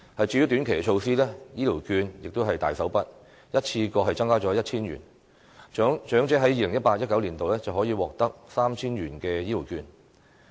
至於短期措施，醫療券亦是大手筆，一次過增加了 1,000 元，長者在 2018-2019 年度可以獲得 3,000 元的醫療券。